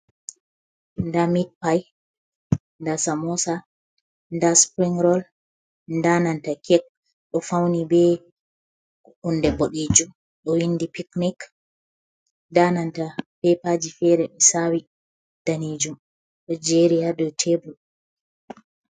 Nɗa mit pai, nɗa samosa, nɗa sipirin rol, nɗa nanta keke ɗo fauni be hunɗe ɓoɗejum, ɗo winɗi piknik. Nɗa nanta pepaji fere sawi nɗanijum ɗo jeri ha ɗou tebur.